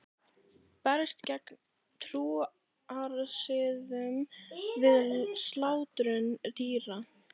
Berst gegn trúarsiðum við slátrun dýra